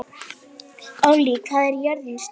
Ollý, hvað er jörðin stór?